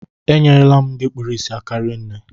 E nyere la m ndị kpụrụ isi aka rinne